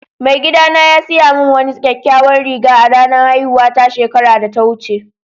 Mai gida na ya siya mun wani kyakkyawan riga a'ranan haihuwa ta shekaran da ta wuce.